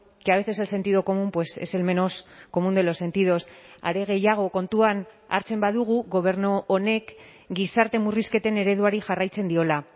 que a veces el sentido común es el menos común de los sentidos are gehiago kontuan hartzen badugu gobernu honek gizarte murrizketen ereduari jarraitzen diola